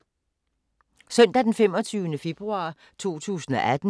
Søndag d. 25. februar 2018